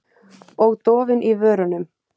Og dofinn í vörunum.